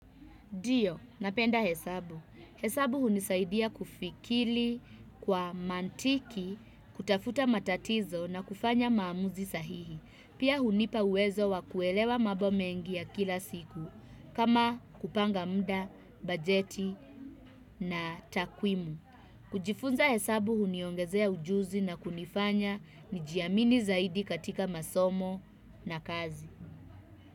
Dio, napenda hesabu. Hesabu hunisaidia kufikili kwa mantiki, kutafuta matatizo na kufanya maamuzi sahihi. Pia hunipa uwezo wa kuelewa mabo mengi ya kila siku, kama kupanga mda, bajeti na takwimu. Kujifunza hesabu huniongezea ujuzi na kunifanya nijiamini zaidi katika masomo na kazi.